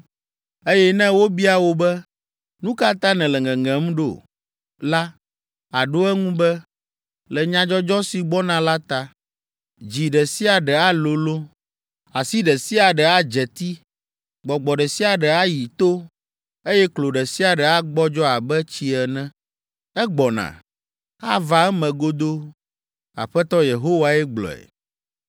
Eye ne wobia wò be, ‘Nu ka ta nèle ŋeŋem ɖo?’ la, àɖo eŋu be, ‘Le nyadzɔdzɔ si gbɔna la ta. Dzi ɖe sia ɖe alolõ, asi ɖe sia ɖe adze ti, gbɔgbɔ ɖe sia ɖe ayi to, eye klo ɖe sia ɖe agbɔdzɔ abe tsi ene.’ Egbɔna! Ava eme godoo, Aƒetɔ Yehowae gblɔe.”